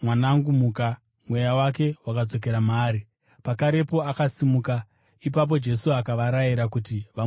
Mweya wake wakadzokera maari, pakarepo akasimuka. Ipapo Jesu akavarayira kuti vamupe zvokudya.